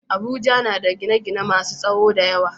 Abuja yana da gine-gine masun tsawo da yawa.